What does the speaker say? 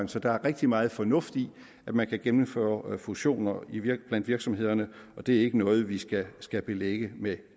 så der er rigtig meget fornuft i at man kan gennemføre fusioner blandt virksomhederne og det er ikke noget vi skal skal belægge med